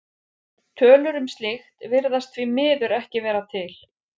Tölur um slíkt virðast því miður ekki vera til.